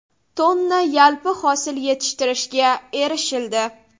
tonna yalpi hosil yetishtirishga erishildi.